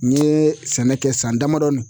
N ye sɛnɛ kɛ san damadɔ